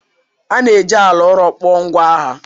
A na-eji ala ụrọ kpụọ ngwa agha.